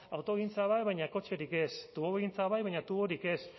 autogintza bat baina kotxerik ez tubogintza bai baina tuborik ez